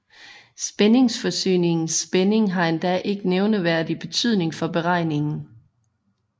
Spændingsforsyningens spænding har endda ikke nævneværdig betydning for beregningen